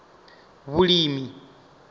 vhulimi